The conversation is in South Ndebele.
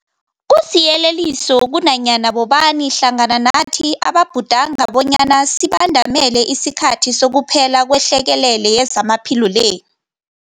Kusiyeleliso kunanyana bobani hlangana nathi ababhudanga bonyana sibandamele isikhathi sokuphela kwehlekelele yezamaphilo le.